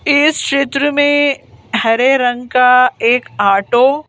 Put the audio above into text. इस क्षेत्र में हरे रंग का एक ऑटो --